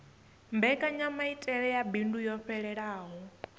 mbekanyamaitele ya bindu yo fhelelaho